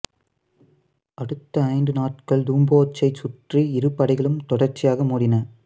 அடுத்த ஐந்து நாட்கள் டூம்போசைச் சுற்றி இரு படைகளும் தொடர்ச்சியாக மோதின